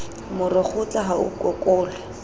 moro kgotla ha o okolwe